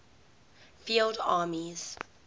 field armies